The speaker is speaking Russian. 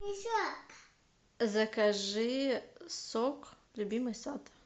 закажи сок любимый сад